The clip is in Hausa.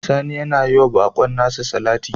Sani yana yi wa bakon nasa salati